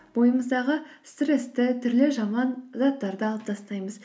бойымыздағы стрессті түрлі жаман заттарды алып тастаймыз